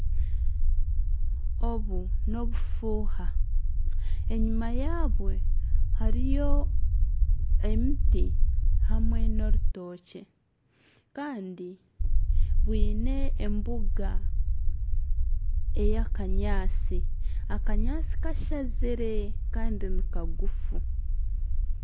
Obu n'obufuuha enyuma yaabwo hariyo emiti hamwe n'orutookye kandi bwiine embuga eya kanyaatsi, akanyaatsi kashazire kandi nikagufu.